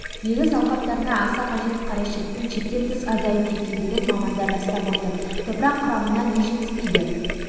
егіс алқаптарына аса қажет қарашіріктің шектен тыс азайып кеткендігін мамандар растап отыр топырақ құрамына не жетіспейді